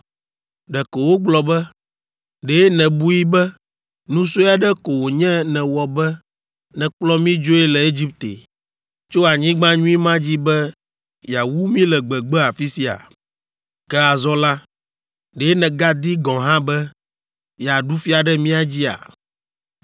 Ɖeko wogblɔ be, “Ɖe nèbui be nu sue aɖe ko wònye nèwɔ be nèkplɔ mí dzoe le Egipte, tso anyigba nyui ma dzi be yeawu mí le gbegbe afi sia? Ke azɔ la, ɖe nègadi gɔ̃ hã be yeaɖu fia ɖe mía dzia?